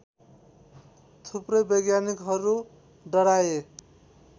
थुप्रै वैज्ञानिकहरू डराए